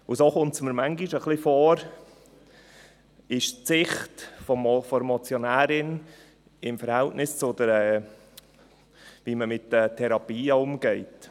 Und so ist – wie es mir manchmal ein wenig scheint – die Sicht der Motionärin im Verhältnis dazu, wie man mit den Therapien umgeht.